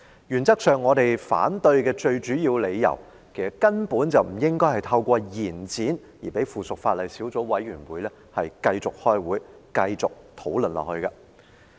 原則上，我們反對的最主要理由，就是其實根本不應透過延展而讓附屬法例小組委員會繼續開會和討論下去。